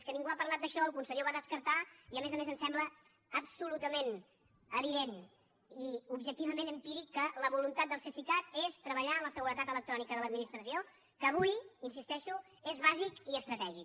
és que ningú ha parlat d’això el conseller ho va descartar i a més a més em sembla absolutament evident i objectivament empíric que la voluntat del cesicat és treballar en la seguretat electrònica de l’administració que avui hi insisteixo és bàsic i estratègic